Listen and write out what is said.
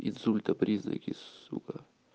инсульта признаки сука